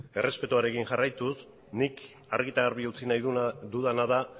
errespetuarekin jarraituz nik argi eta garbi utzi nahi dudana da